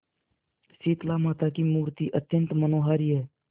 शीतलामाता की मूर्ति अत्यंत मनोहारी है